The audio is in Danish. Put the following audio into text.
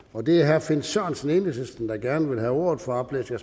og det er herre finn sørensen enhedslisten der gerne vil have ordet for oplæsning